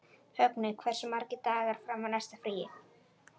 Högni, hversu margir dagar fram að næsta fríi?